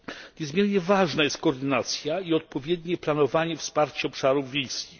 Niezmiernie ważna jest koordynacja i odpowiednie planowanie wsparcia obszarów wiejskich.